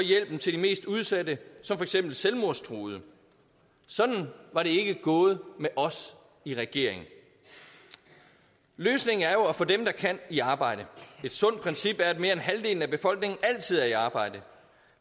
hjælpen til de mest udsatte som for eksempel selvmordstruede sådan var det ikke gået med os i regering løsningen er jo at få dem der kan i arbejde et sundt princip er at mere end halvdelen af befolkningen altid er i arbejde